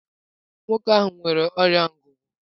Nwoke ahụ nwere ọrịa ngụgụ.